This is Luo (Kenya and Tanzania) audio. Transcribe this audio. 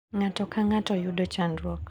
Ng`ato ka ng`ato yudo chandruok.